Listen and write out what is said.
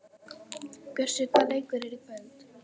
Bjössi, hvaða leikir eru í kvöld?